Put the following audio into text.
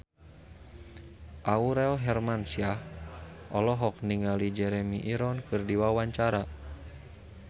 Aurel Hermansyah olohok ningali Jeremy Irons keur diwawancara